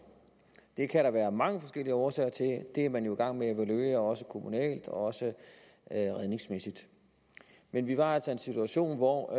det kan der være mange forskellige årsager til det er man jo i gang med at evaluere også kommunalt og også redningsmæssigt men vi var altså i en situation hvor